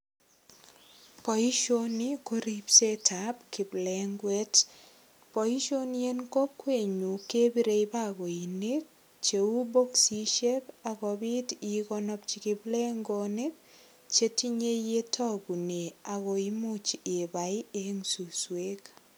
Boisioni ko ripsetab kiplenguet. Boisioni en kokwenyun kepirei bakoinik cheu boksisiek ak kopit igonopchi kiplengonik che tinyei yetogune ak koimuch ibai eng suswek.